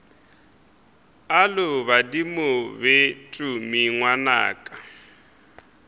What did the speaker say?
alo badimo be tumi ngwanaka